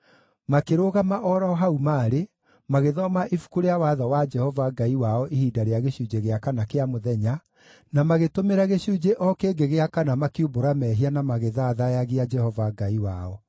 Makĩrũgama o ro hau maarĩ, magĩthoma Ibuku rĩa Watho wa Jehova Ngai wao ihinda rĩa gĩcunjĩ gĩa kana kĩa mũthenya, na magĩtũmĩra gĩcunjĩ o kĩngĩ gĩa kana makiumbũra mehia na magĩthathaiyagia Jehova Ngai wao.